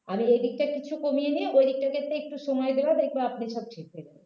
কাজের ওই দিকটা কিছুটা কমিয়ে নিয়ে ঐদিকটাতে একটু সময় দেবে দেখবে আপনি সব ঠিক হয়ে যাবে